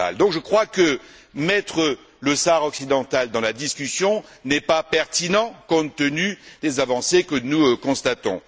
Je crois donc qu'intégrer le Sahara occidental dans la discussion n'est pas pertinent compte tenu des avancées que nous constatons.